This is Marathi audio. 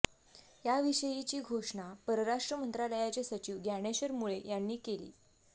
याविषयीची घोषणा परराष्ट्र मंत्रालयाचे सचिव ज्ञानेश्वर मुळे यांनी केली